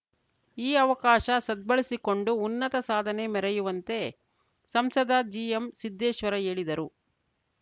ಈ ಅವಕಾಶ ಸದ್ಭಳಿಸಿ ಕೊಂಡು ಉನ್ನತ ಸಾಧನೆ ಮೆರೆಯುವಂತೆ ಸಂಸದ ಜಿಎಂಸಿದ್ದೇಶ್ವರ ಹೇಳಿದರು